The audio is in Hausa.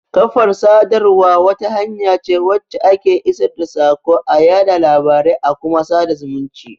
Kafar sadarwa wata hanya ce wacce ake isar da saƙo,a yaɗa labarai a kuma sada zumunci.